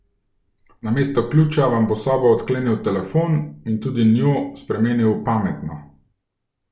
Namesto ključa vam bo sobo odklenil telefon in tudi njo spremenil v pametno.